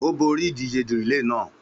Ó borí ìdíje relay lánàá.